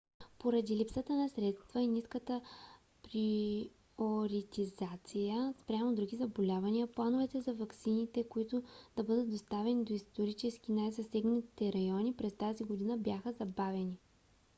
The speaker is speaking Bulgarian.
поради липсата на средства и ниската приоритизация спрямо други заболявания плановете за ваксините които да бъдат доставени до исторически най-засегнатите райони през тази година бяха забавени